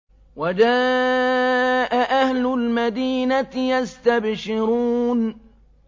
وَجَاءَ أَهْلُ الْمَدِينَةِ يَسْتَبْشِرُونَ